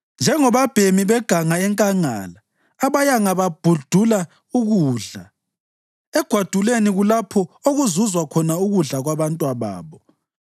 Njengabobabhemi beganga enkangala, abayanga babhudula ukudla; egwaduleni kulapho okuzuzwa khona ukudla kwabantwababo.